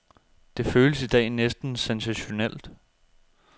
Det føles i dag næsten sensationelt.